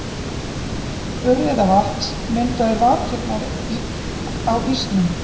Urriðavatns myndaði vakirnar á ísnum.